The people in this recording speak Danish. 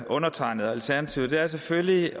undertegnede og alternativet er selvfølgelig